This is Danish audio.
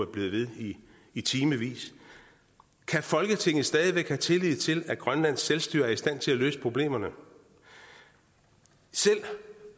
blevet ved i timevis kan folketinget stadig væk have tillid til at grønlands selvstyre er i stand til at løse problemerne selv